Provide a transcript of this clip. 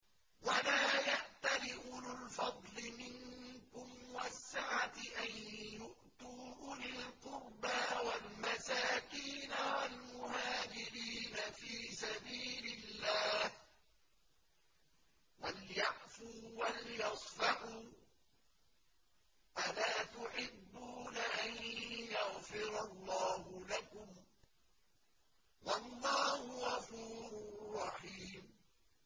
وَلَا يَأْتَلِ أُولُو الْفَضْلِ مِنكُمْ وَالسَّعَةِ أَن يُؤْتُوا أُولِي الْقُرْبَىٰ وَالْمَسَاكِينَ وَالْمُهَاجِرِينَ فِي سَبِيلِ اللَّهِ ۖ وَلْيَعْفُوا وَلْيَصْفَحُوا ۗ أَلَا تُحِبُّونَ أَن يَغْفِرَ اللَّهُ لَكُمْ ۗ وَاللَّهُ غَفُورٌ رَّحِيمٌ